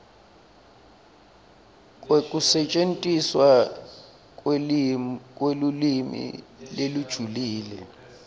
kwekusetjentiswa kwelulwimi lolujulile